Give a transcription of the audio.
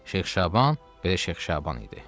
Şeyx Şaban, belə Şeyx Şaban idi.